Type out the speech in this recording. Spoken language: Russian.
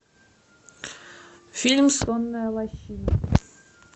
фильм сонная лощина